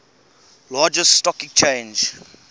largest stock exchange